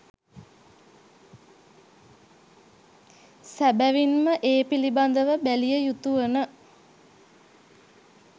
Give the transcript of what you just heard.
සැබැවින්ම ඒ පිළිබඳව බැලිය යුතු වන